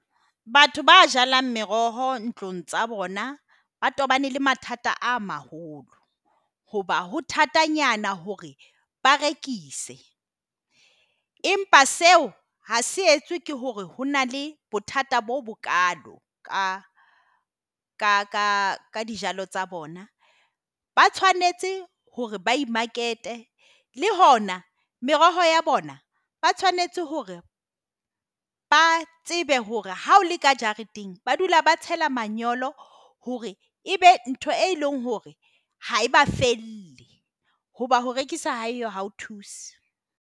Batho ba jalang meroho ntlong tsa bona ba tobane le mathata a maholo hoba ho thatanyana hore ba rekise. Empa seo ha se etswe ke hore ho na le bothata bo bokalo ka ka dijalo tsa bona. Ba tshwanetse hore Bae Market e le hona meroho ya bona, ba tshwanetse hore ba a tsebe hore ha o le ka jareteng, ba dula ba tsela manyolo hore ebe ntho e leng hore ha eba fele hoba ho rekisa ha eo ha o thuse.